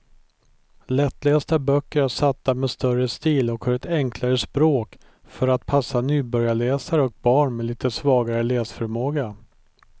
Lättlästa böcker är satta med större stil och har ett enklare språk för att passa nybörjarläsare och barn med lite svagare läsförmåga.